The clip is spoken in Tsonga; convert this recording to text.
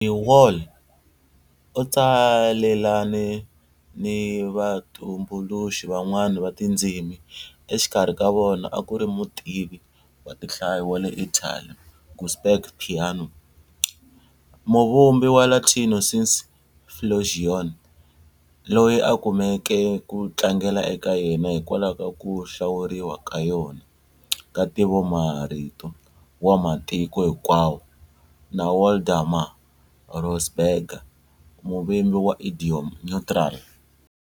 De Wahl u tsalelane ni vatumbuluxi van'wana va tindzimi, exikarhi ka vona a ku ri mutivi wa tinhlayo wa le Italy Giuseppe Peano, muvumbi wa Latino sine flexione, loyi a kumeke ku tlangela eka yena hikwalaho ka ku hlawuriwa ka yona ka ntivomarito wa matiko hinkwawo, na Waldemar Rosenberger, muvumbi wa Idiom Neutral.